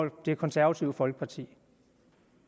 det konservative folkeparti